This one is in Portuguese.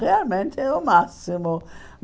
Realmente o máximo!